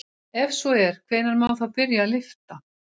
Ef svo er hvenær má þá byrja að lyfta?